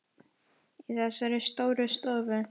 Í þessari stóru stofu?